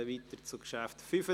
Wir kommen zum Traktandum 75.